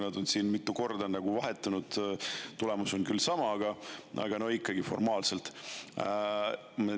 Nad on siin mitu korda vahetunud – tulemus on küll sama, aga formaalselt ikkagi.